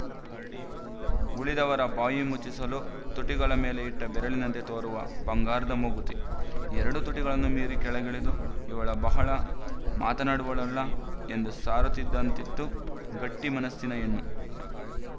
ಉಳಿದವರ ಬಾಯಿ ಮುಚ್ಚಿಸಲು ತುಟಿಗಳ ಮೇಲೆ ಇಟ್ಟ ಬೆರಳಿನಂತೆ ತೋರುವ ಬಂಗಾರದ ಮೂಗುತಿ ಎರಡೂ ತುಟಿಗಳನ್ನು ಮೀರಿ ಕೆಳಗಿಳಿದು ಇವಳು ಬಹಳ ಮಾತನಾಡುವವಳಲ್ಲ ಎಂದು ಸಾರುತ್ತಿದ್ದಂತಿತ್ತು ಗಟ್ಟಿ ಮನಸ್ಸಿನ ಹೆಣ್ಣು